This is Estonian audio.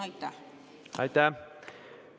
Aitäh!